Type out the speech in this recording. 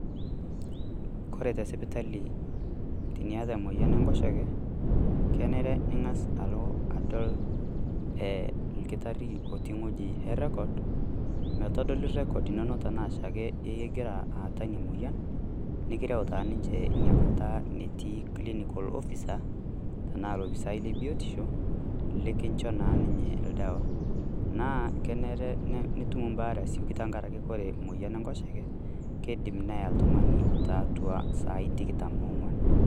Ore te sipitali teniata emoyian Enkoshoke, kenare ning'asa alo adol olkitarri otii wueji errekod metodoli errekod inono tenaa oshiake egira aata ina moyian nirreu taa ninche ina Kata enetii clinical officers tenaa olopisai lebiotisho nikincho naa ninye oldawa. Naa kenare nitum ebaare aasioki tengaraki kore emoyian Enkoshoke keidim neya oltung'ani tiatua esiai tikitam ong'uan.